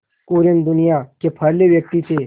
कुरियन दुनिया के पहले व्यक्ति थे